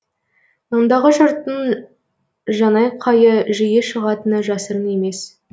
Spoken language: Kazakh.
ондағы жұрттың жанайқайы жиі шығатыны жасырын емес